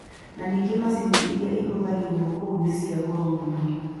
Na ningĩ macini iria ihũthagĩrwo kuo nĩ cia goro mũno.